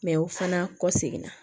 o fana kɔ seginna